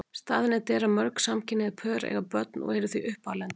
Staðreynd er að mörg samkynhneigð pör eiga börn og eru því uppalendur.